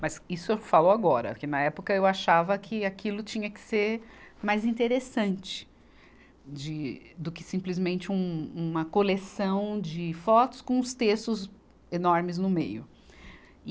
Mas isso eu falo agora, porque na época eu achava que aquilo tinha que ser mais interessante de, do que simplesmente um, uma coleção de fotos com uns textos enormes no meio. e